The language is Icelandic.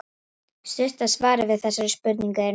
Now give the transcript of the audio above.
Stutta svarið við þessari spurningu er nei.